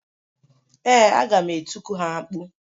Ee, aga m etiku ha mkpu.